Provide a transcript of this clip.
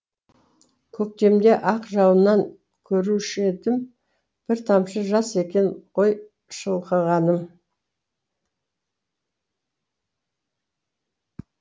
көктемде ақ жауыннан көрушіедім бір тамшы жас екен ғой шылқығаным